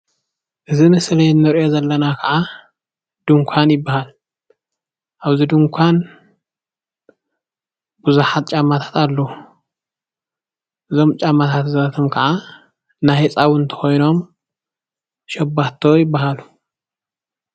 እዚ ምስሊ ንሪኦ ዘለና ከዓ ድንኳን ይበሃል ኣብዚ ዱንኳን ብዙሓት ጫማታት ኣለው። እዞም ጫማታት እዚ ኣቶም ክዓ ናይ ህፃዉንቲ ኮይኖም ሸባቶ ይበሃሉ ።